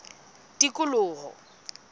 tikoloho